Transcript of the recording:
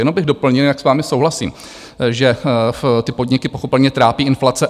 Jenom bych doplnil, jak s vámi souhlasím, že ty podniky pochopitelně trápí inflace.